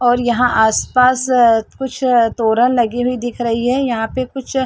और यहां आसपास कुछ तोरण लगी हुई दिख रही है यहां पे कुछ --